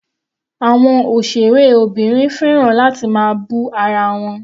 Àwọn òṣèré obìnrin fẹ́ràn láti máa bú ara wọn.